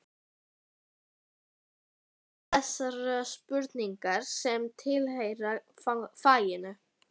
Rakarinn spurði þessara spurninga sem tilheyra faginu